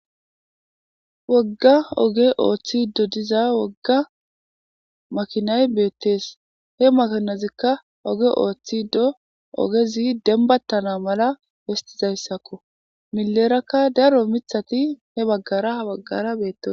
Wogga oge ooththi do diza wogga makinay beettees he makanozikka oge ooththi do ogezi denbattana mala hestizayssakko milerakka daro mithati he baggara h baggara bettos